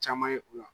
Caman ye u la